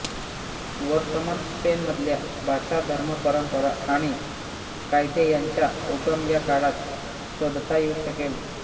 वर्तमान स्पेनमधल्या भाषा धर्म परंपरा आणि कायदे यांचा उगम या काळात शोधता येऊ शकेल